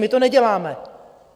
My to neděláme.